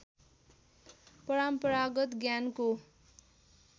परम्परागत ज्ञानको